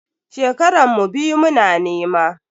Shekaran mu biyu muna nema.